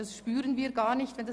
Davon merken wir gar nichts.